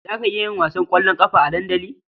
Za ki iya yin wasan ƙwallon ƙafa a dandali?